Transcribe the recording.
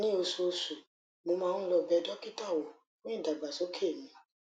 ní oṣooṣù mo máa ń lọ bẹ dókítà wò fún ìdàgbàsókè mi